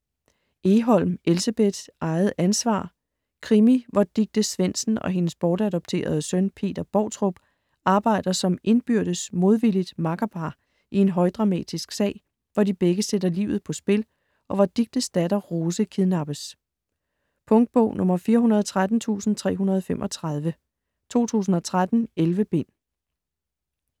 Egholm, Elsebeth: Eget ansvar Krimi hvor Dicte Svendsen og hendes bortadopterede søn, Peter Boutrup, arbejder som indbyrdes modvilligt makkerpar i en højdramatisk sag, hvor de begge sætter livet på spil, og hvor Dictes datter, Rose, kidnappes. Punktbog 413335 2013. 11 bind.